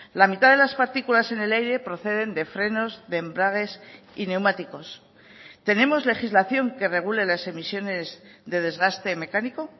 la mitad de las partículas en el aire proceden de frenos de embragues y neumáticos tenemos legislación que regule las emisiones de desgaste mecánico